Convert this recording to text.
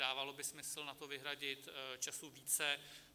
Dávalo by smysl na to vyhradit času více.